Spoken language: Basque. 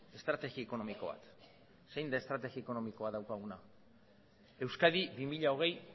estrategi ekonomiko bat zein da estrategi ekonomikoa daukaguna euskadi bi mila hogei